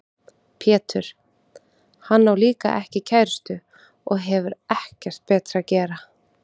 Pétur: Hann á líka ekki kærustu og hefur ekkert betra að gera.